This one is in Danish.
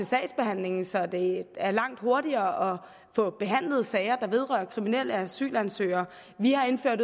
sagsbehandlingen så det er langt hurtigere at få behandlet sager der vedrører kriminelle asylansøgere vi har indført